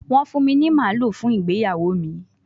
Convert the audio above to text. Wọ́n fún mi ní màlúù fún ìgbéyàwó mi